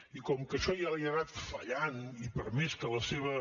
i com que això ja li ha anat fallant i per més que la seva